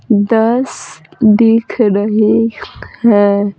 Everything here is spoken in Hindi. दस दिख रही है।